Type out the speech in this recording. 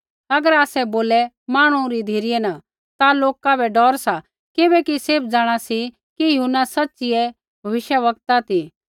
होर अगर आसै बोले मांहणु री धिरै न ता लोका बै डौर सा किबैकि सैभ जाँणा सी कि यूहन्ना सच़िऐ भविष्यवक्ता ती